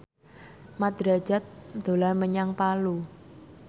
Mat Drajat dolan menyang Palu